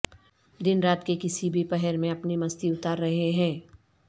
دن رات کے کسی بھی پہر میں اپنی مستی اتار رہے ہیں